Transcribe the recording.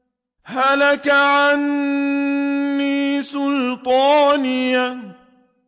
هَلَكَ عَنِّي سُلْطَانِيَهْ